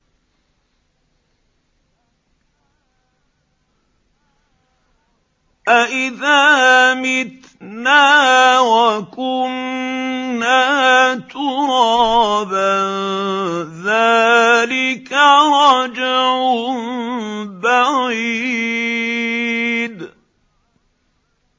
أَإِذَا مِتْنَا وَكُنَّا تُرَابًا ۖ ذَٰلِكَ رَجْعٌ بَعِيدٌ